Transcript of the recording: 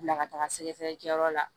Bila ka taga sɛgɛsɛgɛlikɛyɔrɔ la